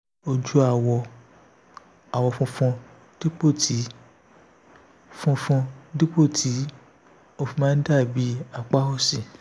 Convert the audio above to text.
ojú awọ àwọ̀ funfun dípò tí funfun dípò tí ó fi máa ń dà bí apá òsì